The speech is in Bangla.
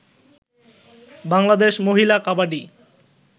বাংলাদেশ মহিলা কাবাডি